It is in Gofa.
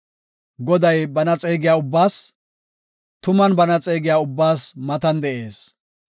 Goday bana xeegiya ubbaas, tuman bana xeegiya ubbaas matan de7ees.